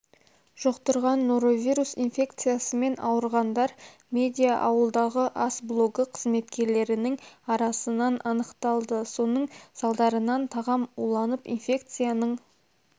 жұқтырған норовирус инфекциясымен ауырғандар медиа-ауылдағы ас блогы қызметкерлерінің арасынан анықталды соның салдарынан тағам уланып инфекцияның